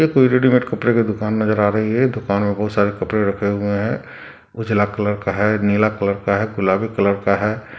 एक कोई रेडिमेट कपड़े की दुकान नज़र आ रही है दुकान में बहुत सारे कपड़े रखे हुए है कुछ पीला कलर का है नीला कलर का है गुलाबी कलर का है।